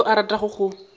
go yo a ratago go